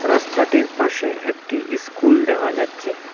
রাস্তাটির পাশে একটি স্কুল দেখা যাচ্ছে।